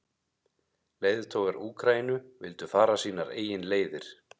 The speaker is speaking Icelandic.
Leiðtogar Úkraínu vildu fara sínar eigin leiðir.